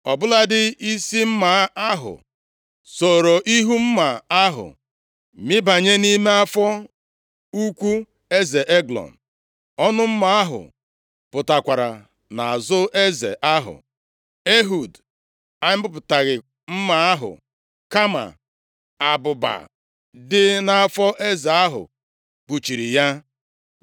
Ọ bụladị isi mma ahụ sooro ihu mma ahụ mibanye nʼime afọ ukwu eze Eglọn. Ọnụ mma ahụ pụtakwara nʼazụ eze ahụ. Ehud amịpụtaghị mma ahụ, kama abụba dị nʼafọ eze ahụ kpuchiri ya.